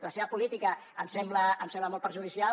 la seva política em sembla molt perjudicial